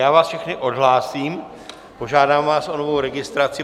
Já vás všechny odhlásím, požádám vás o novou registraci.